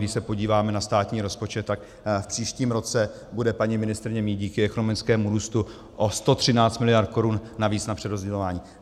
Když se podíváte na státní rozpočet, tak v příštím roce bude paní ministryně mít díky ekonomickému růstu o 113 miliard korun navíc na přerozdělování.